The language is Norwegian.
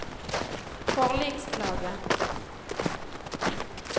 forliksklage